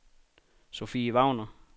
Sophie Wagner